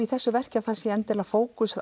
í þessu verki sé fókus